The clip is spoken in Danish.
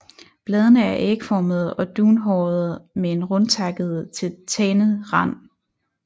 Bladene er ægformede og dunhårede med en rundtakket til tandet rand